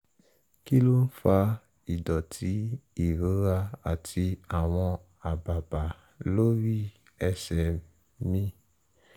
kí ló ń fa ìdọ̀tí ìrora àti àwọn àbàbà lórí ẹsẹ̀ mi?